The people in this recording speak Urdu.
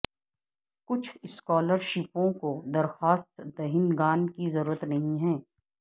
کچھ اسکالرشپوں کو درخواست دہندگان کی ضرورت نہیں ہے